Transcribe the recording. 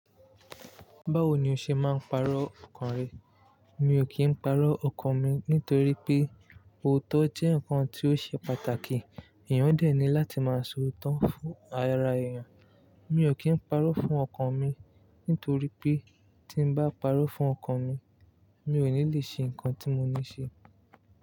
Báwo ni o ṣe máa ń pàrọ̀ ọkàn rẹ? Mi ò kí ń pàrọ̀ ọkàn mi nítorí pé òótọ́ jẹ́ nǹkan tí ó ṣe pàtàkì. Èèyàn dẹ̀ ní láti máa sọ òótọ́ fún ara èèyàn. Mi ò kí ń pàrọ̀ fún ọkàn mi nítorí pé tí n bá pàrọ̀ fún ọkàn mi, mi ò ní lè ṣe nǹkan tí mo ní ṣe.